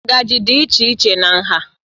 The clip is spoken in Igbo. Ngaji dị iche iche na nha